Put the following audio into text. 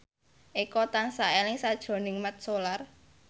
Eko tansah eling sakjroning Mat Solar